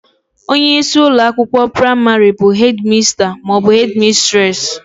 Onyeisi ụlọakwụkwọ praịmarị bụ hedị masta maọbụ hedị mistresị